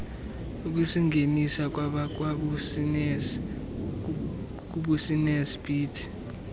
ukusingenisa kwabakwabusiness beat